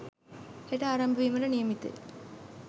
හෙට ආරම්භ වීමට නියමිතය.